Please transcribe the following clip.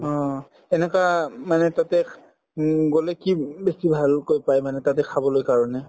অ, এনেকুৱা মানে তাতে তাতে উম গলে কি উম বেছি ভালকৈ পাই মানে তাতে খাবলৈ কাৰণে